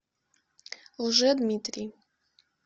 лжедмитрий